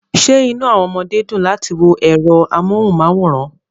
Ṣé inú àwọn ọmọdé dùn láti wo ẹ̀rọ amóhùnmáwòrán